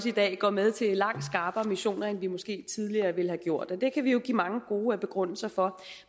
i dag går med til langt skarpere missioner end vi måske tidligere ville have gjort og det kan vi jo også give mange gode begrundelser for